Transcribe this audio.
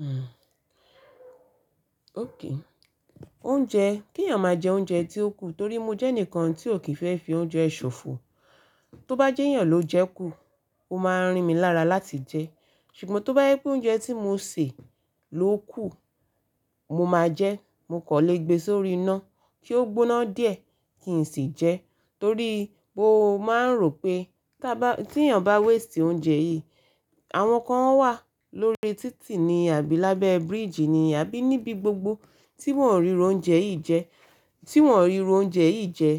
Hmm. Okay. Oúnjẹ, kí ènìyàn máa jẹ oúnjẹ tí ó kù torí mo jẹ́ ẹnìkan tí ò kí n fẹ́ fi oúnjẹ ṣòfò. Tó bá jẹ́ ìyàn ló jẹ kú, ó máa ń rín mi lára láti jẹ. Ṣùgbọ́n tó bá ye pé oúnjẹ tí mo sè ló kù, mo máa jẹ ẹ́, mo kò lè gbé e sórí iná kí ó gbóná díẹ̀ kí n sì jẹ ẹ́. Torí bó máa ń rò pé tí ènìyàn bá waste oúnjẹ yìí, àwọn kan wà lórí títì ni àbí lábẹ́ bridge ni àbí níbi gbogbo tí wọ́n ò ríru oúnjẹ yìí jẹ.